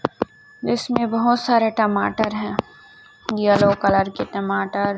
इसमें बहोत सारे टमाटर हैं येलो कलर के टमाटर--